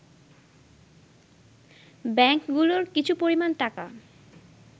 ব্যাংকগুলোর কিছু পরিমাণ টাকা